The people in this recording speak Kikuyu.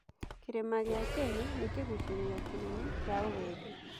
Kĩrĩma gĩa Kenya nĩ kĩgucĩrĩrio kĩnene kĩa ũgendi.